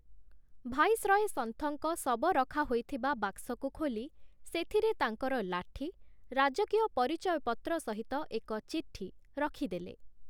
Viceroy ସନ୍ଥଙ୍କ ଶବ ରଖା ହୋଇଥିବା ବାକ୍ସକୁ ଖୋଲି ସେଥିରେ ତାଙ୍କର ଲାଠି, ରାଜକୀୟ ପରିଚୟ ପତ୍ର ସହିତ ଏକ ଚିଠି ରଖିଦେଲେ ।